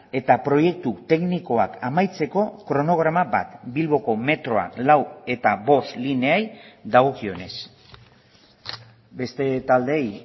eta proiektu teknikoak amaitzeko kronograma bat bilboko metroa lau eta bost lineei dagokionez beste taldeei